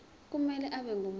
kumele abe ngumuntu